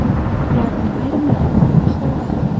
Ularning ayrimlari og‘ir ahvolda.